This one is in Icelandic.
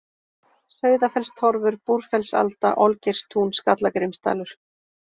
Sauðafellstorfur, Búrfellsalda, Olgeirstún, Skallagrímsdalur